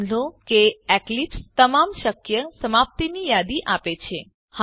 નોંધ લો કે એક્લીપ્સ તમામ શક્ય સમાપ્તિની યાદી આપે છે